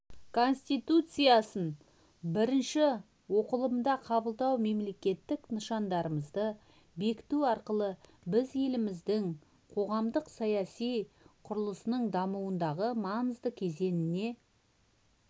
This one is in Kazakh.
конституциясын бірінші оқылымында қабылдау мемлекеттік нышандарымызды бекіту арқылы біз еліміздің қоғамдық-саяси құрылысының дамуындағы маңызды кезеңіне